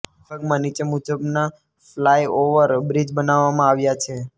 આ વિભાગમાં નિચે મુજબના ફ્લાયઓવર બ્રિજ બનાવવામાં આવ્યા છે